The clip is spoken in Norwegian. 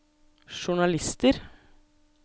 journalister